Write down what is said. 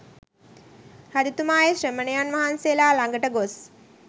රජතුමා ඒ ශ්‍රමණයන් වහන්සේලා ළඟට ගොස්